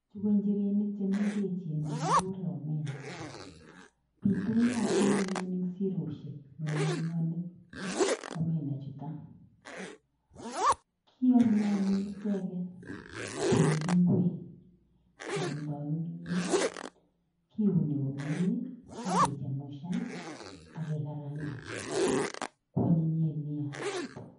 Chu ko njirenik chemengechen chekigure omena pitunatin anyun eng' siroshek eng' olinyonde omena chutok, kiame anyun icheket koek ngwek keamdoi kimnyet. Ki uni komnyee, age chemushan, akegarangan koanyinyen neya.